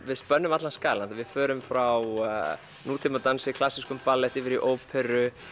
við spönnum allan skalann við förum frá klassískum ballet yfir í óperu